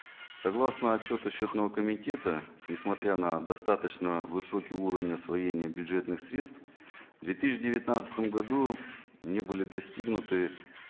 согласно отчету счетного комитета несмотря на достаточно высокий уровень освоения бюджетных средств в две тысячи девятнадцатом году не были достигнуты